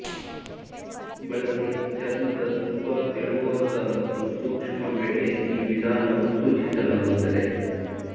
ಬಳಸಿ ಚರ್ಮದ ತುಂಬಾ ತೆಳುವಾದ ಮತ್ತು ಸೂಕ್ಷ್ಮ ವೇಳೆ ಈ ವಿಧಾನವು ಸೂಚಿಸಲಾಗುತ್ತದೆ